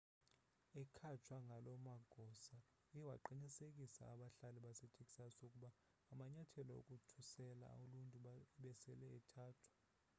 ekhatshwa ngaloo magosa uye waqinisekisa abahlali basetexas ukuba amanyathelo okukhusela uluntu ebesele ethathwa